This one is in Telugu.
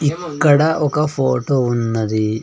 ఇక్కడ ఒక ఫోటో ఉన్నది.